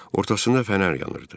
Ortasında fənər yanırdı.